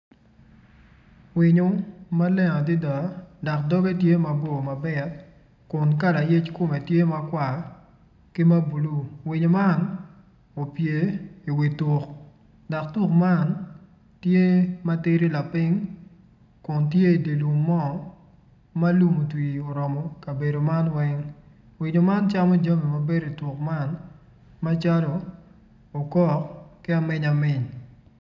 Mon man gitye ka wot dok mon man gitye gin adek kun gin weng guruko kala bongo mapadipadi kun ngat acel tye ma otingo latin i cinge kun ngat ma i dyere-ni oruko bongo ma bulu.